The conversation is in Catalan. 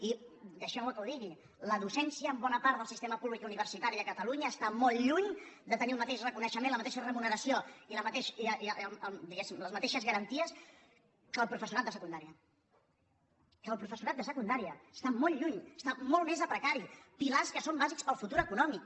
i deixeu·me que ho digui la docència en bona part del sistema públic universitari de catalunya està molt lluny de tenir el mateix reconeixement la mateixa re·muneració i diguéssim les mateixes garanties que el professorat de secundària que el professorat de se·cundària està molt lluny està molt més a precari pilars que són bàsics per al futur econòmic